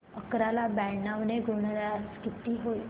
अकरा ला ब्याण्णव ने गुणल्यास किती होतील